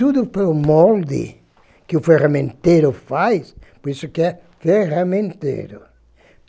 Tudo pelo molde que o ferramenteiro faz, por isso que é ferramenteiro.